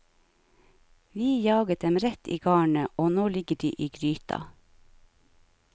Vi jaget dem rett i garnet, og nå ligger de i gryta.